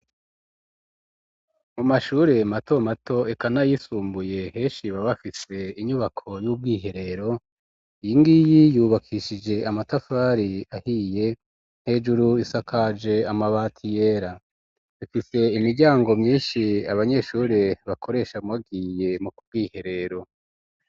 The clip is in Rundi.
Mu mashure mato mato eka n'ayisumbuye, henshi baba bafise inyubako y'ubwiherero; iyi ngiyi yubakishije amatafari ahiye, hejuru isakaje amabati yera, ifise imiryango myinshi abanyeshure bakoresha, bagiye mu bwiherero.